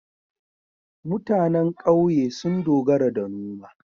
MutAnan ƙauye sun dogara da noma